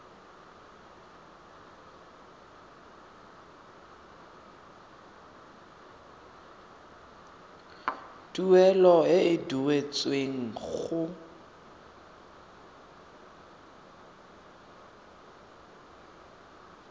tuelo e e duetsweng go